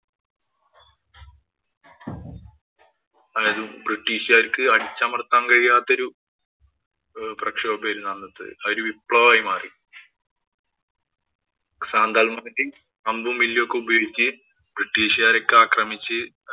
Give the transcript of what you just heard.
അതായത്, ബ്രിട്ടീഷുകാര്‍ക്ക് അടിച്ചമര്‍ത്താന്‍ കഴിയാത്ത ഒരു പ്രക്ഷോഭമായിരുന്നു അന്നത്തേത്. ഒരു വിപ്ലവമായി മാറി. സാന്താള്‍മാര് അമ്പും, വില്ലുമൊക്കെ ഉപയോഗിച്ച് ബ്രിട്ടീഷുകാരെയൊക്കെ ആക്രമിച്ച്